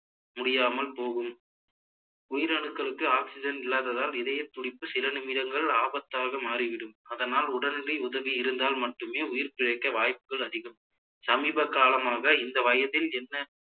முடியாமல் போகும் உயிரணுக்களுக்கு oxygen இல்லாததால் இதயத்துடிப்பு சில நிமிடங்கள் ஆபத்தாக மாறிவிடும் அதனால் உடனடி உதவி இருந்தால் மட்டுமே உயிர்பிழைக்க வாய்ப்புகள் அதிகம் சமீப காலமாக இந்த வயதில் என்ன